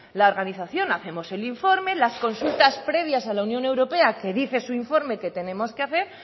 la organización hacemos el informe las consultas previas a la unión europea que dice su informe que tenemos que hacer